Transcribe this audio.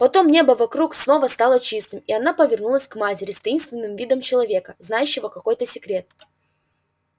потом небо вокруг снова стало чистым и она повернулась к матери с таинственным видом человека знающего какой-то секрет